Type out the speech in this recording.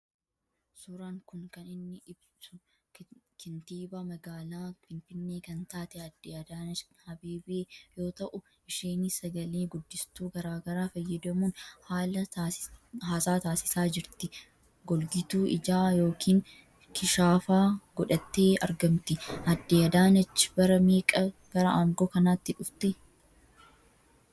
Suuraan kun kan inni ibsu kantiibaa magaalaa Finfinnee kan taatee Aadde Adaanach Abeebee yoo ta'u isheenis sagalee guddistuu garagaraa fayyadamuun haasaa taasisaa jirtii. Golgituu ijaa yookiin kishaafaa godhattee argamttii. Aadde Adaanach bara meeqa gara aangoo kanaatti dhuftee ?